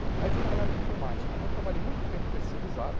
Aí fui trabalhar na área de informática, então trabalhei muito tempo terceirizado,